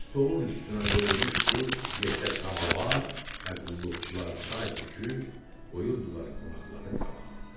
Stolun üstünə qoyulmuşdu yekə samavar və qulluqçular çay töküb qoyurdular qonaqların qabağına.